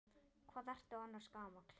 Hvað ertu annars gamall?